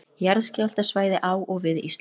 Jarðskjálftasvæði á og við Ísland.